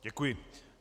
Děkuji.